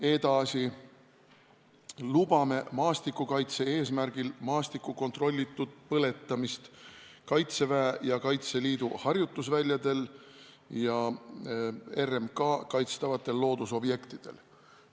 Edasi, lubame maastikukaitse eesmärgil maastiku kontrollitud põletamist Kaitseväe ja Kaitseliidu harjutusväljadel ja RMK kaitstavatel loodusobjektidel.